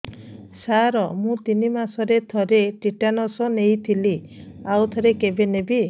ସାର ମୁଁ ତିନି ମାସରେ ଥରେ ଟିଟାନସ ନେଇଥିଲି ଆଉ ଥରେ କେବେ ନେବି